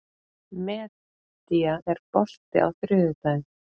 Meda, er bolti á þriðjudaginn?